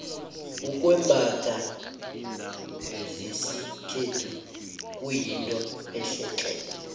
ukwembatha zesikhethu kuyinto ehle tle